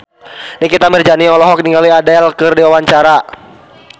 Nikita Mirzani olohok ningali Adele keur diwawancara